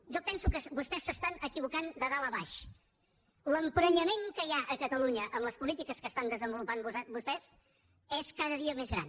jo penso que vostès s’estan equivocant de dalt a baix l’emprenyament que hi ha a catalunya amb les polítiques que estan desenvolupant vostès és cada dia més gran